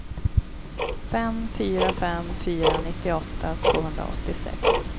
fem fyra fem fyra nittioåtta tvåhundraåttiosex